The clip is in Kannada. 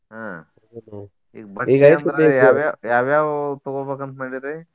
ಆಹ್ ಈಗ ಬಟ್ಟಿ ಅಂದ್ರ ಯಾವ ಯಾವ ಯಾವ ಯಾವ ತೊಗೋಬೇಕಂತ ಮಾಡೆರಿ.